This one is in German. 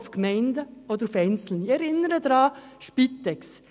Ich erinnere Sie an die Spitex.